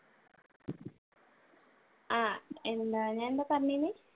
ആഹ് എന്താ ഞാൻ ഇപ്പ